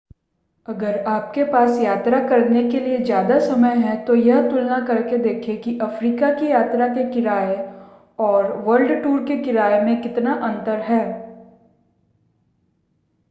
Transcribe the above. अगर आपके पास यात्रा करने के लिए ज़्यादा समय है तो यह तुलना करके देखें कि अफ्रीका की यात्रा के किराए और वर्ल्ड-टूर के किराए में कितना अंतर है